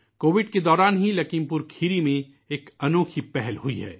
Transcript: Covid کے دوران ہی لکھیم پور کھیری میں ایک انوکھی پہل ہوئی ہے